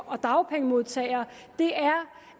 og dagpengemodtagere er